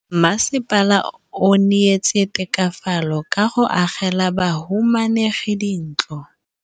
Mmasepala o neetse tokafatsô ka go agela bahumanegi dintlo.